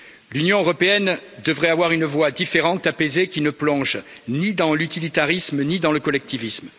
L'Union européenne devrait avoir une voix différente, apaisée qui ne plonge ni dans l'utilitarisme ni dans le collectivisme.